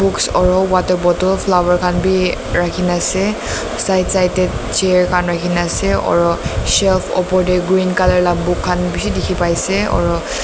books oro water bottle flower khan bhi rakhi na ase side side te chair khan rakhi kina ase aru shelf opor te green colour laga book khan bisi dekhi pai se.